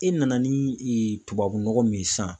E nana ni tubabu nɔgɔ min ye sisan